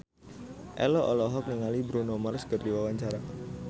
Ello olohok ningali Bruno Mars keur diwawancara